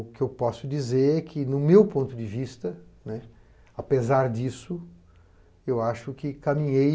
O que eu posso dizer é que, no meu ponto de vista, apesar disso, eu acho que caminhei